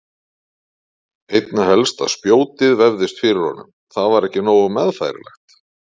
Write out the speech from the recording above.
Einna helst að spjótið vefðist fyrir honum, það var ekki nógu meðfærilegt.